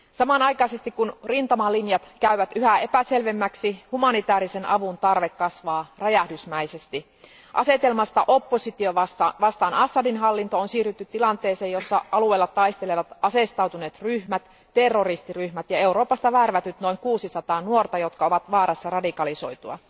Samanaikaisesti kun rintamalinjat käyvät yhä epäselvemmiksi, humanitaarisen avun tarve kasvaa räjähdysmäisesti. Asetelmasta oppositio vastaan Assadin hallinto on siirrytty tilanteeseen, jossa alueella taistelevat aseistautuneet ryhmät, terroristiryhmät ja Euroopasta värvätyt noin 600 nuorta, jotka ovat vaarassa radikalisoitua.